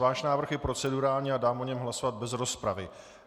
Váš návrh je procedurální a dám o něm hlasovat bez rozpravy.